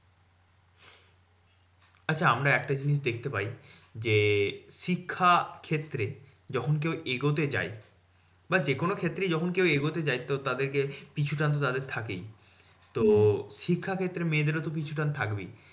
আচ্ছা আমরা একটা জিনিস দেখতে পাই যে, শিক্ষা ক্ষেত্রে যখন কেউ এগোতে যাই বা যেকোনো ক্ষেত্রেই যখন কেউ এগোতে যাই তো তাদের কে পিছুটান তো তাদের থাকেই। তো শিক্ষাক্ষেত্রে মেয়েদেরও তো পিছুটান থাকবেই।